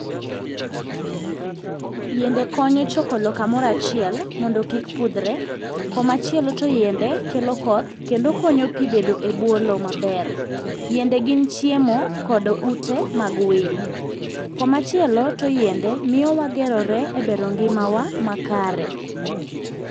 Yiende konyo choko lo kamoro achiel mondo kik pudhre. Komachielo to yiende kelo koth kendo konyo pi bedo ebwo lowo maber. Yiende gin chiemo kod ute mag winy. Komachielo to yiende miyo wagerore ebero ngimawa makare.